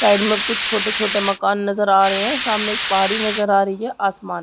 --side में कुछ छोटे छोटे मकान नजर आ रहे है सामने एक पहाड़ी नजर आ रही है आसमान--